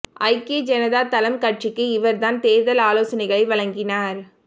ஐக்கிய ஜனதா தளம் கட்சிக்கு இவர்தான் தேர்தல் ஆலோசனைகளை வழங்கினார்